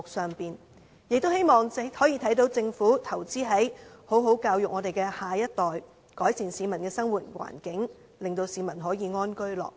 市民亦希望政府投資在教育上，好好教育我們的下一代，改善市民的生活環境，令市民可安居樂業。